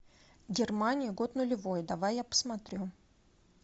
германия год нулевой давай я посмотрю